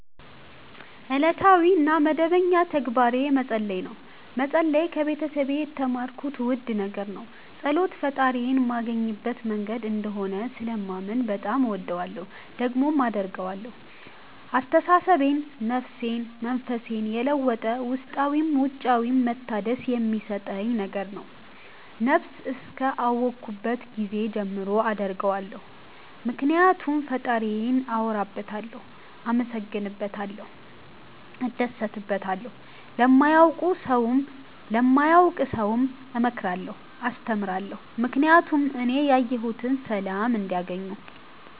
እለታዊ እና መደበኛ ተግባሬ መፀለይ ነው። መፀለይ ከቤተሰብ የተማርኩት ውድ ነገር ነው። ፀሎት ፈጣሪዬን ማገኝበት መንገድ እንደሆነ ስለማምን በጣም እወደዋለሁ። ደግሞም አደርገዋለሁ አስተሳሰቤን፣ ነፍሴን፣ መንፈሴን የለወጠ ውስጣዊም ውጫዊም መታደስ የሚሠጠኝ ነገር ነው። ነብስ እስከ አወኩባት ጊዜ ጀምሮ አደርገዋለሁ ምክኒያቱም ፈጣሪዬን አወራበታለሁ፣ አመሠግንበታለሁ፣ እደሠትበታለሁ። ለማያውቅ ሠውም እመክራለሁ አስተምራለሁ ምክኒያቱም እኔ ያየሁትን ሠላም እንዲያገኙ